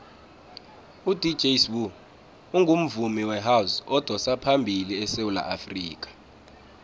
udj sbu ungumvumi wehouse odosaphambili esewula afrikha